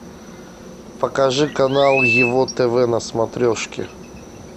покажи канал его тв на смотрешке